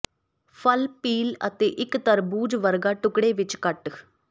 ਫਲ ਪੀਲ ਅਤੇ ਇੱਕ ਤਰਬੂਜ ਵਰਗਾ ਟੁਕੜੇ ਵਿੱਚ ਕੱਟ